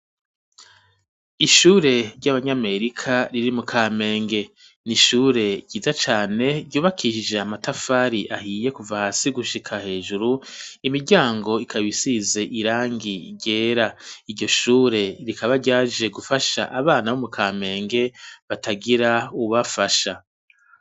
Ishure ry'abanyamerika riri mu Kamenge n'ishure ryiza cane ryubakishije amatafari ahiye kuva hasi gushika hejuru imiryango ikaba isize irangi ryera iryo shure rikaba ryaje gufasha abana bo mu Kamenge batagira uwubafasha